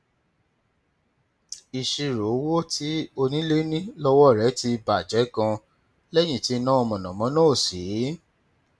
ìṣirò owó tí onílé ní lọwọ rẹ ti bà jẹ ganan lẹyìn tí iná mànàmáná ò sí